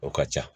O ka ca